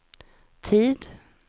tid